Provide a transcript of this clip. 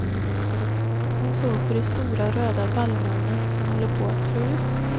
Hon såg på de stora röda vallmorna som håller på att slå ut.